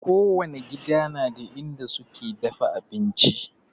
Kowani gida na da inda suke dafa abinci